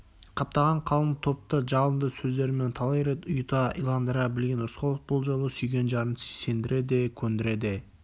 қаптаған қалың топты жалынды сөздерімен талай рет ұйыта иландыра білген рысқұлов бұл жолы сүйген жарын сендіре де көндіре